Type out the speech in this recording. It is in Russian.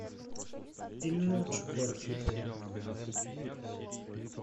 ильнурчику архипову